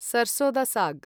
sarson da साग्